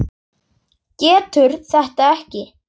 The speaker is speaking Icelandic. Getur þetta ekki.